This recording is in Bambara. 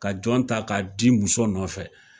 Ka jɔn ta k'a di muso nɔfɛ